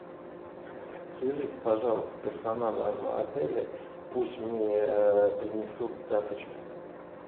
свяжись пожалуйста с персоналом отеля пусть мне принесут тапочки